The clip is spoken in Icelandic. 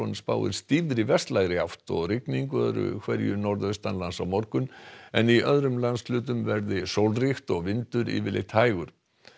spáir stífri vestlægri átt og rigningu öðru hverju norðaustanlands á morgun en í öðrum landshlutum verði sólríkt og vindur yfirleitt hægur